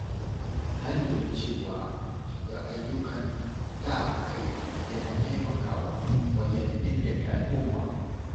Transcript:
Na lura cewa shiga ayyukan sa-kai yana taimakawa wajen inganta al’umma.